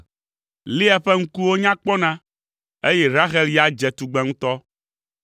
Lea ƒe ŋkuwo nya kpɔna, eye Rahel ya dze tugbe ŋutɔ.